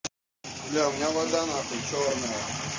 бля у меня вода нахуй чёрная